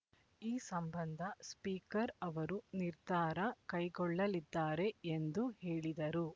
ಈ ಸಂಬಂಧ ಸ್ಪೀಕರ್ ಅವರು ನಿರ್ಧಾರ ಕೈಗೊಳ್ಳಲಿದ್ದಾರೆ ಎಂದು ಹೇಳಿದರು